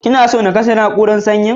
Kina so na kashe na'urar sanyin.